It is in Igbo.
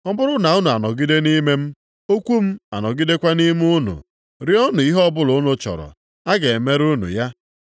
Ọ bụrụ na unu anọgide nʼime m, okwu m anọgidekwa nʼime unu, rịọọnụ ihe ọbụla unu chọrọ, a ga-emere unu ya.